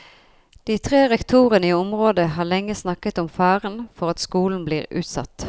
De tre rektorene i området har lenge snakket om faren for at skolen blir utsatt.